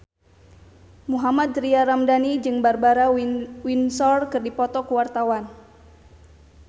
Mohammad Tria Ramadhani jeung Barbara Windsor keur dipoto ku wartawan